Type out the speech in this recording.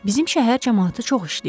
Bizim şəhər camaatı çox işləyir.